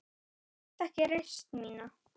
Taktu ekki reisn mína.